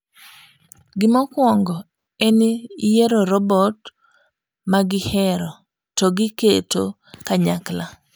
Gimokwongo en yiero robot magihero to giketo kanyakla.